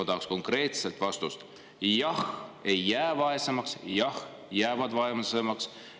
Ma tahaksin konkreetset vastust: jah, ei jää vaesemaks, või jah, jäävad vaesemaks.